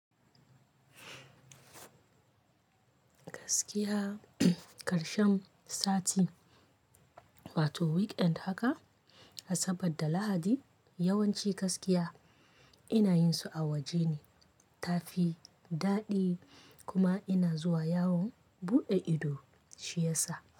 Gaskiya karshen sati, wato weekend haka, Asabar da Lahadi yawanci gaskiya ina yin su a waje ne, tafi daɗi kuma ina zuwa yawon buɗe ido shi yasa.